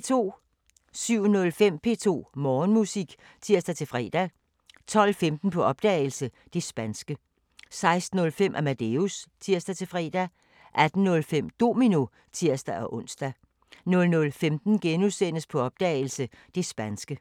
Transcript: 07:05: P2 Morgenmusik (tir-fre) 12:15: På opdagelse – Det spanske 16:05: Amadeus (tir-fre) 18:05: Domino (tir-ons) 00:15: På opdagelse – Det spanske *